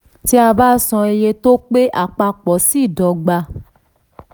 tí a bá san iye tó pé àpapọ̀ ṣeé dọ́gba.